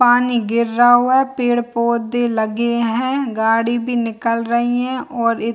पानी गिरा रहा हुआ है पेड़-पोधे लगे हैं गाड़ी भी निकल रही है और इ --